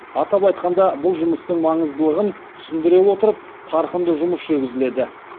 атап айтқанда бұл жұмыстың маңыздылығын түсіндіре отырып қарқынды жұмыс жүргізіледі